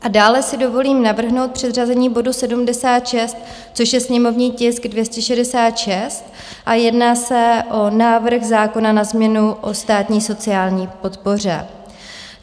A dále si dovolím navrhnout předřazení bodu 76, což je sněmovní tisk 266, a jedná se o návrh zákona na změnu o státní sociální podpoře.